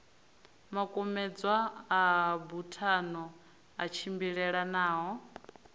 makumedzwa a buthano a tshimbilelanaho